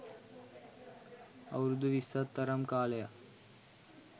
අවුරුදු විස්සක් තරම් කාලයක්